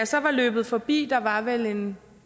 så var løbet forbi der var vel en